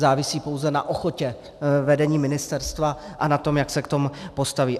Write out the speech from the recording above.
Závisí pouze na ochotě vedení ministerstva a na tom, jak se k tomu postaví.